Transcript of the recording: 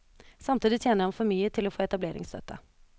Samtidig tjener han for mye til å få etableringsstøtte.